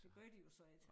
Det gør de jo så ikke